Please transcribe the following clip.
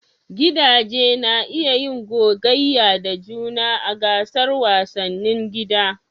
Gidaje na iya yin gogayya da juna a gasar wasannin gida.